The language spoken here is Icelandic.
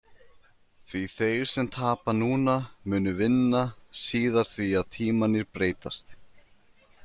Því þeir sem tapa núna munu vinna síðar því að tímarnir breytast.